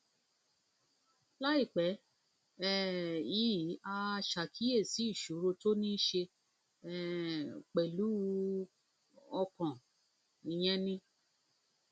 láìpẹ um yìí a ṣàkíyèsí ìṣòro tó níí ṣe um pẹlú um ọkàn ìyẹn ni